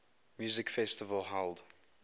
music festival held